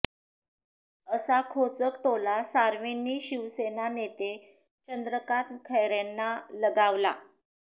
असा खोचक टोला सावेंनी शिवसेना नेते चंद्रकांत खैरेंना लगावला